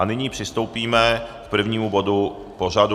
A nyní přistoupíme k prvnímu bodu pořadu.